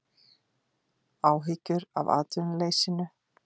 Áhyggjur af atvinnuleysinu